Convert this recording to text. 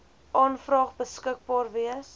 aanvraag beskikbaar wees